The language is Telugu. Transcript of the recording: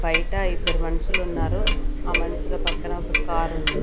బయట ఇద్దరు మనుషులు ఉన్నారు ఆ మనుషుల పక్కన ఒక కారు ఉంది.